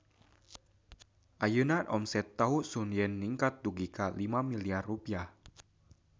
Ayeuna omset Tahu Sun Yen ningkat dugi ka 5 miliar rupiah